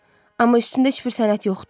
Amma üstündə heç bir sənət yoxdu.